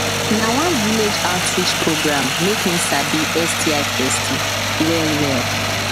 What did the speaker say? na one village outreach program make me sabi sti testing well well